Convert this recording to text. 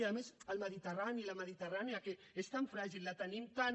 i a més el mediterrani la mediterrània que és tan fràgil la tenim tan